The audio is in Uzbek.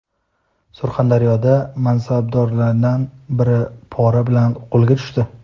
Surxondaryoda mansabdorlardan biri pora bilan qo‘lga tushdi.